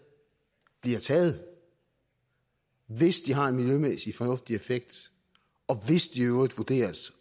bliver taget hvis de har en miljømæssig fornuftig effekt og hvis de i øvrigt vurderes